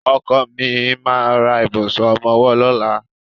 Ọkọ mi ma ra ìbùsùn ọmọwọ́ lọ́la.